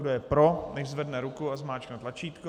Kdo je pro, nechť zvedne ruku a zmáčkne tlačítko.